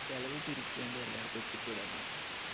ചിലവ് ചുരുക്കിയാണ്ട് എല്ലാടത്തും എത്തി പെടാന്നാണ്.